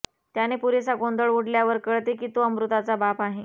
त्याने पुरेसा गोंधळ उडल्यावर कळते की तो अमृताचा बाप आहे